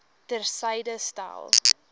ter syde stel